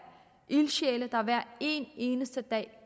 ildsjæle der hver evig eneste dag